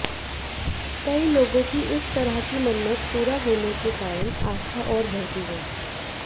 कई लोगों की इस तरह की मन्नत पूरा होने के कारण आस्था और बढ़ती गयी